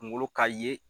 Kunkolo ka ye